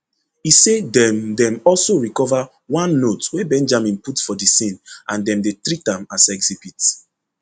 e say dem dem also recover one note wey benjamin put for di scene and dem dey treat am as exhibit